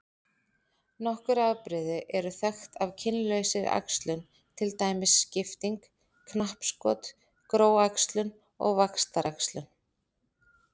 Nokkur afbrigði eru þekkt af kynlausri æxlun til dæmis skipting, knappskot, gróæxlun og vaxtaræxlun.